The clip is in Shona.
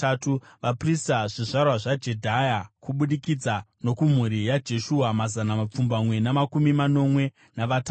Vaprista: zvizvarwa zvaJedhaya (kubudikidza nokumhuri yaJeshua), mazana mapfumbamwe namakumi manomwe navatatu;